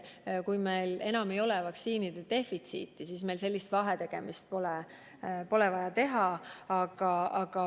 Kui meil enam ei ole vaktsiinide defitsiiti, siis meil sellist vahetegemist pole vaja teha.